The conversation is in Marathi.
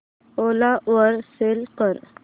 ओला वर सेल कर